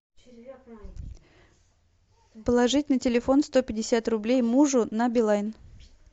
положить на телефон сто пятьдесят рублей мужу на билайн